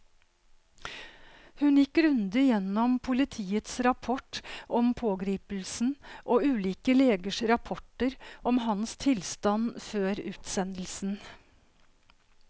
Hun gikk grundig gjennom politiets rapport om pågripelsen og ulike legers rapporter om hans tilstand før utsendelsen.